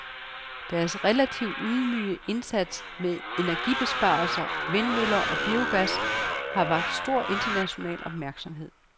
Deres relativt ydmyge indsats med energibesparelser, vindmøller og biogas har vakt stor international opmærksomhed.